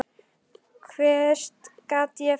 Hvert gat ég farið?